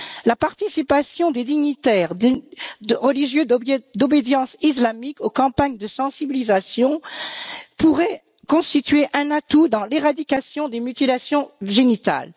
La participation des dignitaires, de religieux d'obédience islamique aux campagnes de sensibilisation pourrait constituer un atout dans l'éradication des mutilations génitales.